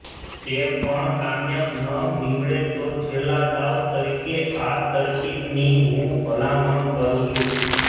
તે પણ કામયાબ ન નીવડે તો છેલ્લા દાવ તરીકે આ તરકીબની હું ભલામણ કરું છું